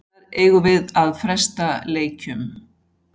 Hvenær eigum við að fresta leikjum?